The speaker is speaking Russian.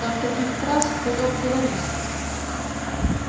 там таких фраз хоть обговорись